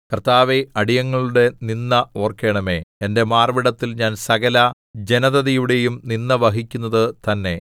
കർത്താവേ അടിയങ്ങളുടെ നിന്ദ ഓർക്കണമേ എന്റെ മാർവ്വിടത്തിൽ ഞാൻ സകല ജനതതിയുടെയും നിന്ദ വഹിക്കുന്നതു തന്നെ